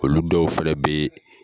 Olu dɔw fɛnɛ bee